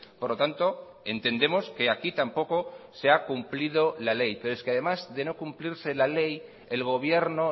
por lo tanto entendemos que aquí tampoco se ha cumplido la ley pero es que además de no cumplirse la ley el gobierno